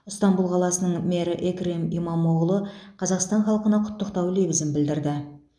ыстанбұл қаласының мэрі экрем имамоғлу қазақстан халқына құттықтау лебізін білдірді